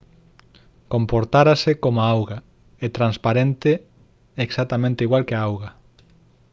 «comportarase como a auga. é transparente exactamente igual que a auga